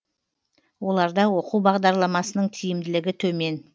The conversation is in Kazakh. оларда оқу бағдарламасының тиімділігі төмен